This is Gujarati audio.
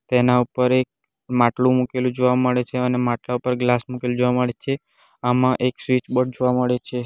તેના ઉપર એક માટલું મૂકેલું જોવા મળે છે અન માટલા ઉપર ગ્લાસ મૂકેલું જોવા મળે છે આમાં એક સ્વિચબોર્ડ જોવા મળે છે.